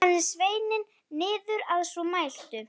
Ég fylgdi honum eftir með augunum.